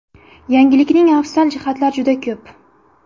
Yangilikning afzal jihatlari juda ko‘p.